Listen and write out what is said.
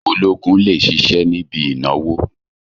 Ológun lè ṣiṣẹ́ níbi ìnáwó